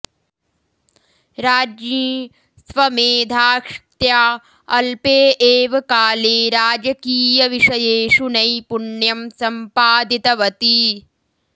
राज्ञी स्वमेधाश्क्त्या अल्पे एव काले राजकीयविषयेषु नैपुण्यं सम्पादितवती